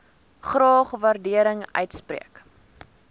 graag waardering uitspreek